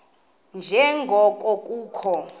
nje ngoko kukho